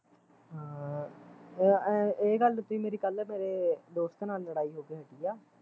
ਹਾਂ ਏਹ ਗੱਲ ਤੇ ਈ ਮੇਰੀ ਕੱਲ ਮੇਰੇ ਦੋਸਤ ਨਾਲ਼ ਲੜਾਈ ਹੋ ਕੇ ਹਟੀ ਆ